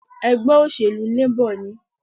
Ègbé òṣèlú Labor ni